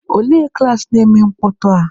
Olee klaasị na-eme mkpọtụ a?